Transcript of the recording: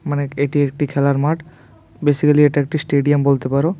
মানে এটি একটি খেলার মাঠ বেসিকালি এটা একটি স্টেডিয়াম বলতে পারো।